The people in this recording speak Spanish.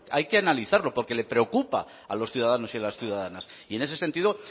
hay que analizarlo porque les preocupa a los ciudadanos y a las ciudadanas y en ese sentido